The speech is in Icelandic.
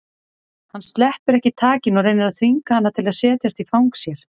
Hann sleppir ekki takinu og reynir að þvinga hana til að setjast í fang sér.